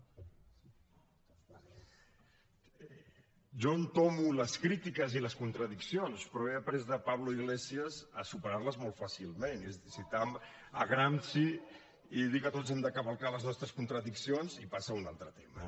jo entomo les crítiques i les contradiccions però he après de pablo iglesias a superar les molt fàcilment és a dir citar gramsci i dir que tots hem de cavalcar les nostres contradiccions i passar a un altre tema